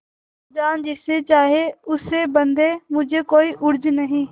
खालाजान जिसे चाहें उसे बदें मुझे कोई उज्र नहीं